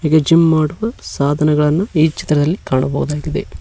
ಈ ಜಿಮ್ ಮಾಡುವ ಸಾಧನೆಗಳನ್ನ ಈ ಚಿತ್ರದಲ್ಲಿ ಕಾಣಬಹುದಾಗಿದೆ.